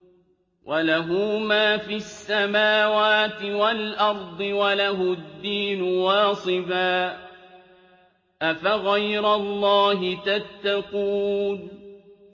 وَلَهُ مَا فِي السَّمَاوَاتِ وَالْأَرْضِ وَلَهُ الدِّينُ وَاصِبًا ۚ أَفَغَيْرَ اللَّهِ تَتَّقُونَ